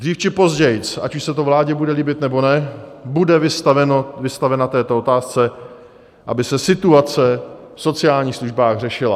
Dřív či později, ať už se to vládě bude líbit, nebo ne, bude vystavena této otázce, aby se situace v sociálních službách řešila.